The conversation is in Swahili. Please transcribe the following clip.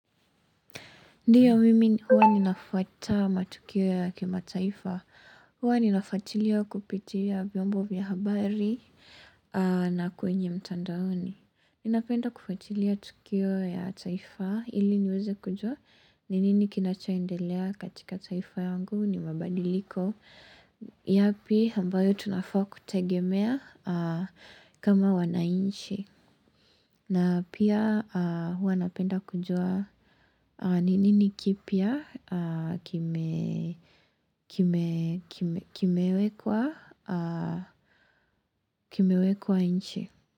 Ndio mimi huwa ninafuata matukio ya kimataifa. Huwa ninafuatilia kupitia vyombo vya habari na kwenye mtandaoni. Ninapenda kufatilia tukio ya taifa ili niweze kujua. Ni nini kinachoendelea katika taifa yangu ni mabadiliko. Yapi ambayo tunafaa kutegemea kama wanainchi. Na pia huwa napenda kujua ni nini kipia kimewekwa inchi.